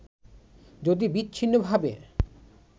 যদি বিচ্ছিন্নভাবে